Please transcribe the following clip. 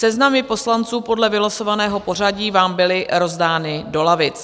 Seznamy poslanců podle vylosovaného pořadí vám byly rozdány do lavic.